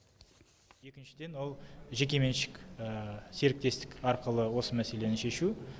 екіншіден ол жекеменшік серіктестік арқылы осы мәселені шешу